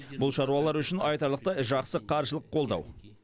бұл шаруалар үшін айтарлықтай жақсы қаржылық қолдау